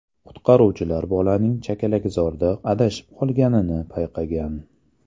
Qutqaruvchilar bolaning chakalakzorda adashib qolganini payqagan.